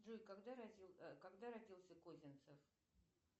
джой когда родился козинцев